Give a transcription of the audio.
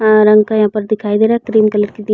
रंग का यहाँ पर दिखाई दे रहा है क्रीम कलर की दी --